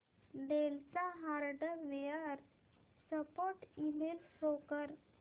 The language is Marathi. डेल चा हार्डवेअर सपोर्ट ईमेल शो कर